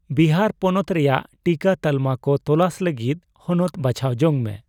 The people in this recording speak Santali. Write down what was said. ᱵᱤᱦᱟᱨ ᱯᱚᱱᱚᱛ ᱨᱮᱭᱟᱜ ᱴᱤᱠᱟᱹ ᱛᱟᱞᱢᱟ ᱠᱚ ᱛᱚᱞᱟᱥ ᱞᱟᱹᱜᱤᱫ ᱦᱚᱱᱚᱛ ᱵᱟᱪᱷᱟᱣ ᱡᱚᱝ ᱢᱮ ᱾